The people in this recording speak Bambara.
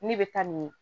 Ne bɛ taa nin